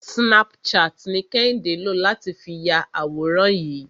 Snapchat ni Kẹ́hìndé lò láti fi ya àwòrán yìí.